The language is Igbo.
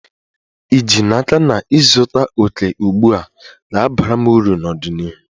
Ì ji n'aka na ịzụta òkè ugbu a, ga-abara m uru n'ọdịnihu?